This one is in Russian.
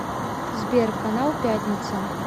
сбер канал пятница